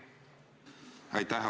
Aitäh!